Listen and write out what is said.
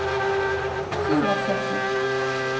Hlíðarfjalli